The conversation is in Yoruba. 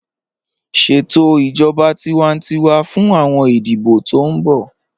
Ṣẹtò ijọba tìwántíwà fún awọn ìdíbọ̀ tó n bọ̀